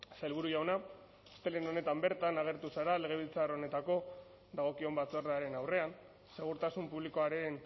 sailburu jauna astelehen honetan bertan agertu zara legebiltzar honetako dagokion batzordearen aurrean segurtasun publikoaren